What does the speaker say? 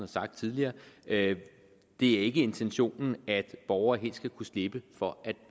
sagt tidligere det er ikke intentionen at borgere helt skal kunne slippe for